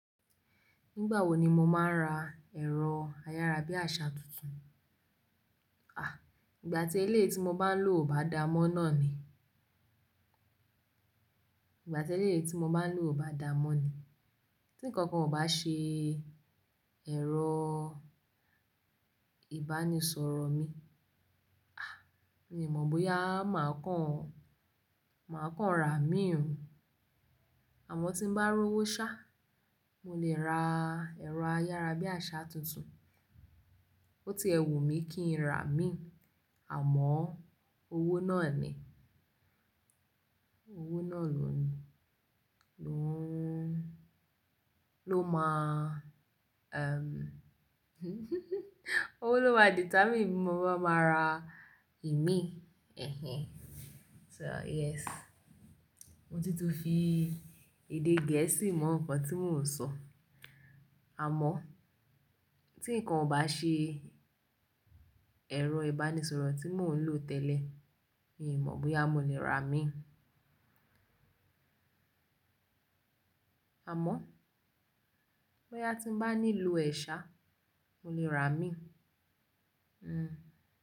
Nígbà wo ni mo máa ra ẹ̀rọ ayára bí àsá tuntun? À, ìgbà tí ilé tí mo bá ń lò ò bá da mọ́ náà ni. Ìgbà tí éleyii tí mo bá ń lò ò bá da mọ́ ni. Tí ǹkan kan ò bá ṣe ẹ̀rọ ìbánisọ̀rọ̀ mi, à, mi ò mọ̀ bóyá màá kàn, màá kàn ra mi ò. Àmọ́ tí ń bá rówó ṣá, mo lè ra ẹ̀rọ ayára bí àsá tuntun. Ó ti wu n mi kí n ra mi, àmọ́ owó náà ni. Owó náà ló ni, ló ń, ló máa, ẹm owó ló máa determine bí mo bá máa ra ìmí, ẹhẹn. So yes, mo tún ti fi èdè gẹ̀ẹ́sì mọ nǹkan tí mò ń sọ. Àmọ́ tí nǹkan ò bá ṣe ẹ̀rọ ìbánisọ̀rọ̀ tí mò ń lò tẹ́lẹ̀, mi ò mọ̀ bóyá mo lè ra mi. Àmọ́ bóyá tí ń bá nílò ẹ̀ ṣa, mo lè ra mi. Hmm.